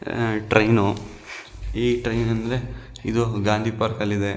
ಆಹ್ಹ್ train ಈ train ಆಮೇಲೆ ಇದು ಗಾಂಧಿ ಪಾರ್ಕ್ ಅಲ್ಲಿ ಇದೆ.